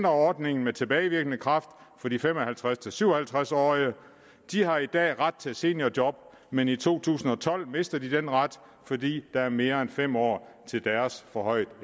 ordningen med tilbagevirkende kraft for de fem og halvtreds til syv og halvtreds årige de har i dag ret til seniorjob men i to tusind og tolv mister de den ret fordi der er mere end fem år til deres forhøjede